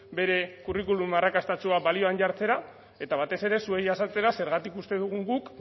bere kurrikulum arrakastatsua balioan jartzera eta batez ere zuei azaltzera zergatik uste dugun guk